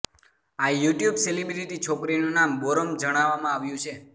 આ YouTube celebrity છોકરીનું નામ બોરમ જણાવવામાં આવ્યું છે